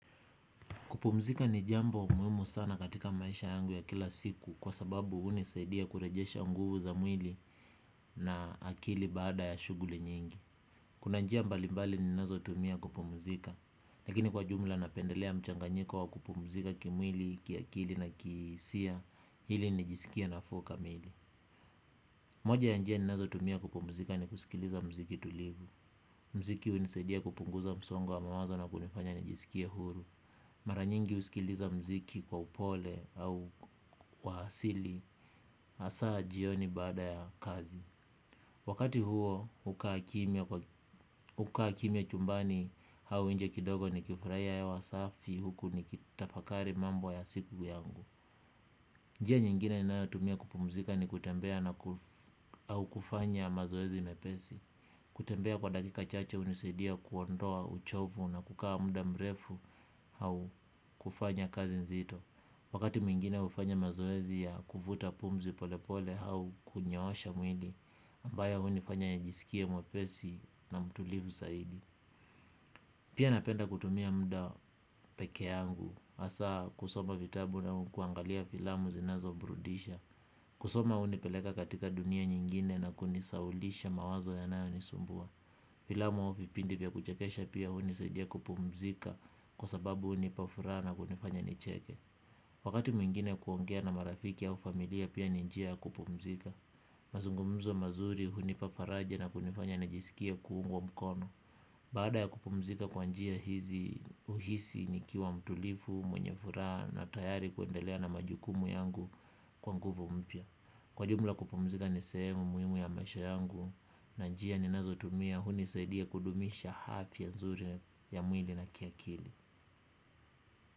Kupumzika ni jambo muhimu sana katika maisha yangu ya kila siku kwa sababu hunisaidia kurejesha nguvu za mwili na akili baada ya shuguli nyingi. Kuna njia mbali mbali ninazotumia kupumzika, lakini kwa jumla napendelea mchanganyiko wa kupumzika kimwili, kiakili na kiisiya hili nijiskie nafuu kamili. Moja ya njia ninazotumia kupumzika ni kusikiliza mziki tulivu. Mziki unisaidia kupunguza msongo wa mawazo na kunifanya nijiskie huru. Mara nyingi usikiliza mziki kwa upole au wa hasili. Asaa jioni baada ya kazi. Wakati huo hukaa kimya chumbani. Hau inje kidogo nikifurahia hewa safi huku nikitafakari mambo ya siku yangu. Njia nyingine ninayotumia kupumzika ni kutembea au kufanya mazoezi mepesi. Kutembea kwa dakika chache unisaidia kuondoa uchovu na kukaa muda mrefu. Au kufanya kazi nzito. Wakati mwingine ufanya mazoezi ya kuvuta pumzi pole pole hau kunyoosha mwili ambaya hunifanya nijiskie mwepesi na mtulivu saidi. Pia napenda kutumia muda pekee yangu. Asaa kusoma vitabu na ukuangalia filamu zinazoburudisha. Kusoma hunipeleka katika dunia nyingine na kunisaulisha mawazo yanayonisumbua. Filamu au vipindi vya kuchekesha pia hunisaidia kupumzika kwa sababu hunipa furaha na kunifanya nicheke. Wakati mwingine kuongea na marafiki au familia pia ni njia ya kupumzika. Mazungumzo mazuri hunipa faraja na kunifanya nijisikie kuungwa mkono. Baada ya kupumzika kwa njia hizi uhisi nikiwa mtulivu, mwenye furaha na tayari kuendelea na majukumu yangu kwa nguvu mpya. Kwa jumla kupumzika ni sehemu muhimu ya maisha yangu na njia ninazotumia hunisaidia kudumisha hafya nzuri ya mwili na kiakili.